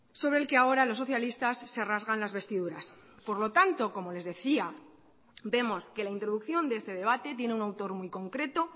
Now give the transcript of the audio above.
sobre el que ahora los socialistas se rasgan las vestiduras por lo tanto como les decía vemos que la introducción de este debate tiene un autor muy concreto